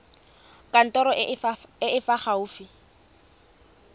kantorong e e fa gaufi